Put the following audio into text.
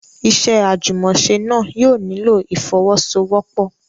Iṣẹ́ àjùmọ̀ṣe náà yóò nílò ìfọ́wọ́sọwọ́pọ̀.